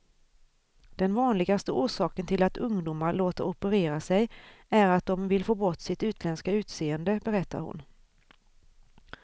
Den vanligaste orsaken till att ungdomar låter operera sig är att de vill få bort sitt utländska utseende, berättar hon.